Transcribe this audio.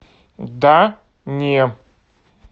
да не